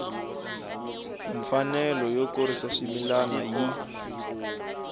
mfanelo yo kurisa swimila yi